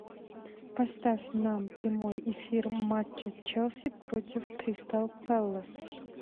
поставь нам прямой эфир матча челси против кристал пэлас